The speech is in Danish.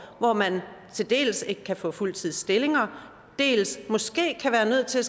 hvor man dels ikke kan få en fuldtidsstilling dels måske kan være nødt til at